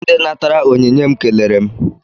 Ndị natara onyinye m kelere m.